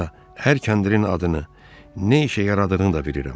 Hətta hər kəndirin adını, nə işə yaradığını da bilirəm.